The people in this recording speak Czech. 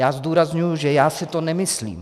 Já zdůrazňuji, že já si to nemyslím.